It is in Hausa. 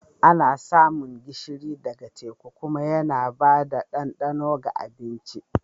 Ana samun gishiri ɗaga teku kuma yana ba da ɗandano ga abinci.